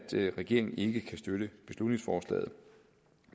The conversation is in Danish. regeringen ikke kan støtte beslutningsforslaget